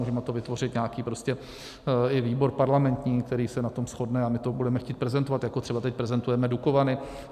Můžeme to vytvořit, nějaký prostě i výbor parlamentní, který se na tom shodne, a my to budeme chtít prezentovat, jako třeba teď prezentujeme Dukovany.